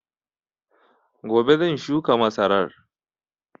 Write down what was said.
Gobe zan shuka masarar